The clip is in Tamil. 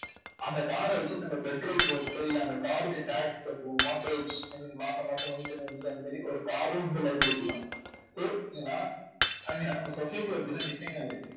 அந்த car அ வச்சிட்டு நம்ம petrol போட்டு இல்லை அந்த car க்கு tax கட்டணும் mortgage, I mean மாசாமாசம் maintenance அந்த மாதிரி ஒரு car உம் வந்து liability தான் so ஏன்னா I mean நம்ம society ல அப்படித்தான் design ஆயிருக்கு.